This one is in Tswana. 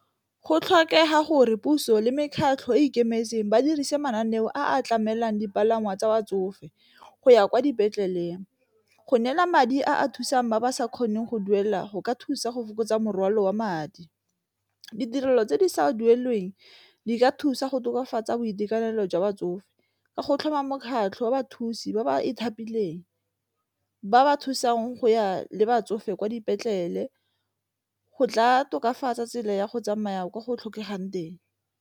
Go tlhokega gore puso le mekgatlho e e ikemetseng ba dirise mananeo a tlamelang dipalangwa tsa batsofe go ya kwa dipetleleng, go neela madi a a thusang ba ba sa kgoneng go duela go ka thusa go fokotsa morwalo wa madi. Ditirelo tse di sa duelelweng di ka thusa go tokafatsa boitekanelo jwa batsofe ka go tlhoma mokgatlho wa bathusi ba ba ithapileng ba ba thusang go ya le batsofe kwa dipetlele go tla tokafatsa tsela ya go tsamaya ka go tlhokegang teng.